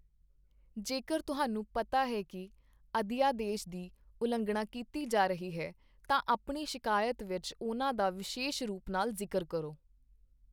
ਜੇਕਰ ਤੁਹਾਨੂੰ ਪਤਾ ਹੈ ਕਿ ਅਧਿਆਦੇਸ਼ ਦੀ ਉਲੰਘਣਾ ਕੀਤੀ ਜਾ ਰਹੀ ਹੈ, ਤਾਂ ਆਪਣੀ ਸ਼ਿਕਾਇਤ ਵਿੱਚ ਉਹਨਾਂ ਦਾ ਵਿਸ਼ੇਸ਼ ਰੂਪ ਨਾਲ ਜ਼ਿਕਰ ਕਰੋ।